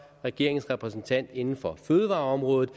regeringens repræsentant inden for fødevareområdet